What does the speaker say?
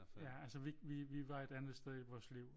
Ja altså vi var et andet sted i vores liv